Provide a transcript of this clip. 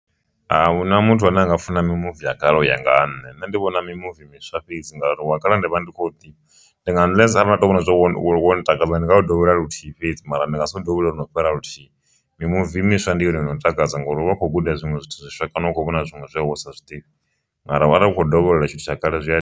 Ahuna muthu ane anga funa mimuvi ya kale u ya nga ha nṋe ndi vhona mimuvi miswa fhedzi ngauri wa kale ndi vha ndi khou ḓivha no takadza ndi nga u dovholola luthihi fhedzi mara ndi nga si u dovholole lwono fhira luthihi, mimuvi miswa ndi yone ino ntakadza ngauri u vha kho guda zwinwe zwithu zwiswa kana u kho vhona zwiṅwe zwi a wo sa zwiḓivhi, mara arali ukho dovholola tshithu tsha kale zwi a.